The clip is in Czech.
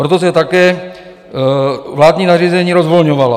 Proto se také vládní nařízení rozvolňovala.